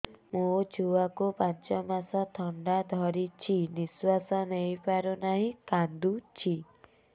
ମୋ ଛୁଆକୁ ପାଞ୍ଚ ମାସ ଥଣ୍ଡା ଧରିଛି ନିଶ୍ୱାସ ନେଇ ପାରୁ ନାହିଁ କାଂଦୁଛି